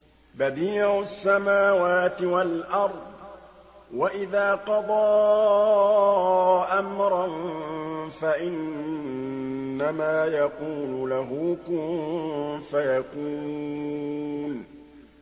بَدِيعُ السَّمَاوَاتِ وَالْأَرْضِ ۖ وَإِذَا قَضَىٰ أَمْرًا فَإِنَّمَا يَقُولُ لَهُ كُن فَيَكُونُ